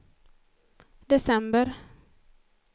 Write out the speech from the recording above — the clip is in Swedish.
december